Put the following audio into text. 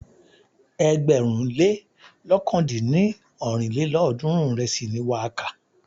Ẹgbẹ̀rún lé lọ̀kan dín ní ọ́rin lélọ́ọ̀dúnrún ìrẹsì ni wà á kà.